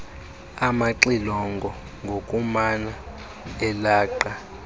amaxilongo ngokumana elaqa